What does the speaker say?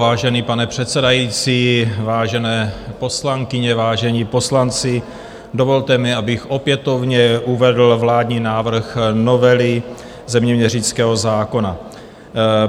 Vážený pane předsedající, vážené poslankyně, vážení poslanci, dovolte mi, abych opětovně uvedl vládní návrh novely zeměměřického zákona.